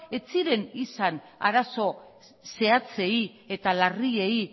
ez ziren izan arazo zehatzei eta larriei